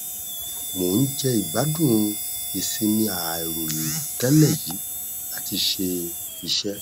mò n jẹ ìgbádùn ìsinmi àìrò tẹlẹ yìí láti ṣe iṣẹ